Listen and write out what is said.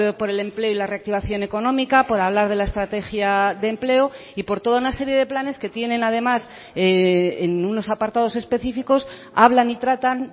por el empleo y la reactivación económica por hablar de la estrategia de empleo y por toda una serie de planes que tienen además en unos apartados específicos hablan y tratan